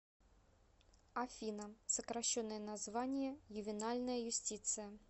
афина сокращенное название ювенальная юстиция